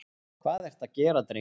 Hvað ertu að gera, drengur?